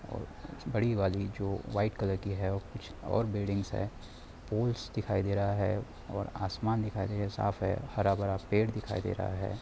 और बड़ी वाली जो वाइट कलर की है कूछ और बिल्डिंग्स है पुल्स दिखाई दे रहा है और आसमान दिखाई दे रहा साफ है हरा-भरा पेड़ दिखाई दे रहा है।